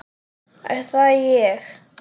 Er það ég?